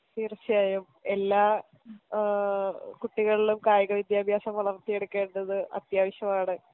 തീർച്ചയായും എല്ലാ ഏ കുട്ടികൾലും കായിക വിദ്യാഭ്യാസം വളർത്തിയെടുക്കേണ്ടത് അത്യാവശ്യമാണ്